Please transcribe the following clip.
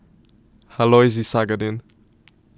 Alojzij Sagadin.